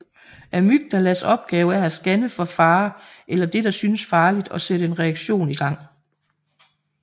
Amygdalas opgave er at scanne for fare eller det der synes farligt og sætte en reaktion i gang